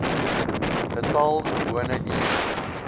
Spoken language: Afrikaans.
getal gewone ure